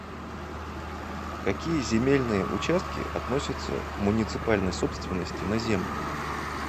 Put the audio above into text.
какие земельные участки относятся к муниципальной собственности на землю